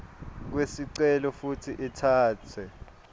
kwesicelo futsi itsatse